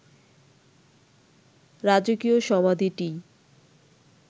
রাজকীয় সমাধিটিই